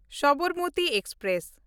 Sabarmati express